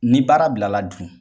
Ni baara bilala dun ?